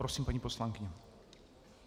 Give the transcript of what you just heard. Prosím, paní poslankyně.